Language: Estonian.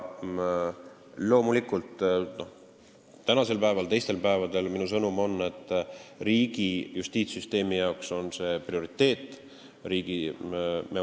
Loomulikult on tänasel päeval ja ka teistel päevadel minu sõnum see, et riigi justiitssüsteemile on see prioriteet.